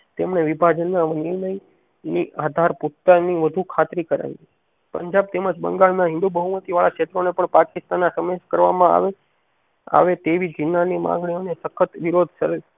તેમણે વિભાજન ના ની આધાર પુખ્તા ની વધુ ખાતરી કરાવી પંજાબ તેમજ બંગાળ ના હિન્દૂ બહુમતી વાળા ક્ષેત્રો ને પણ પાકિસ્તાન ના સમીસ કરવામાં આવે આવે તેવી ઝીણા ની માંગણીઓ ને સખત વિરોધ કરે છે.